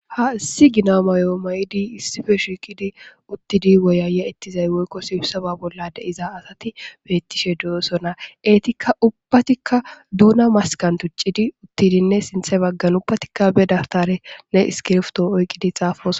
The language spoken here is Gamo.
Ha issi gonna mayo mayidi issippe shiqiddi uttidi woyayaetiza woyikko sibisaba bola deiza asati betishe deosoona eyitikka ubbatikka doona masikani tucidinne uttidinne sinththa baggani ubbatikka dabitarnne issikibirito oyikidi xaafosona